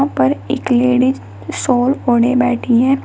ऊपर एक लेडिस जो सॉल ओढ़े बैठी है।